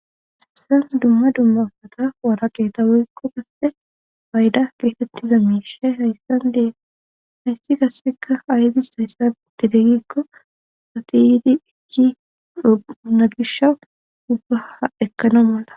hayssan dumma dummafata wara qetawekko kasse bayda geetettiza miishe hayssan dehaysi kasseka haydis hayssan itidegikko satiyidi ijji unagisha dubbaa ekkana malla